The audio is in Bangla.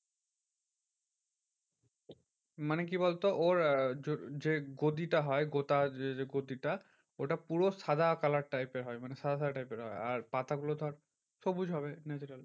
মানে কি বলতো? ওর আহ যে গদিটা হয় গোটা যে যে গতি টা ওটা পুরো সাদা colour type এর হয় মানে সাদা সাদা type এর হয়। আর পাতাগুলো ধর সবুজ হবে natural.